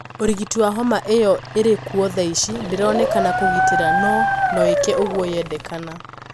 ũrigiti wa homa iyo irikuo thaici ndironekana kugitira no noike uguo yedekana.